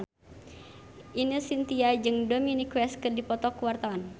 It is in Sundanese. Ine Shintya jeung Dominic West keur dipoto ku wartawan